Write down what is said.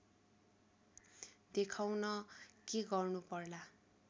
देखाउन के गर्नु पर्ला